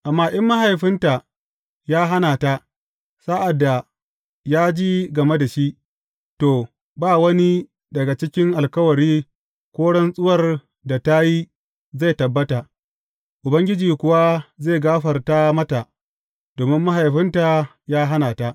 Amma in mahaifinta ya hana ta, sa’ad da ya ji game da shi, to, ba wani daga cikin alkawari ko rantsuwar da ta yi zai tabbata; Ubangiji kuwa zai gafarta mata domin maihaifinta ya hana ta.